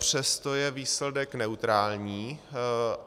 Přesto je výsledek neutrální.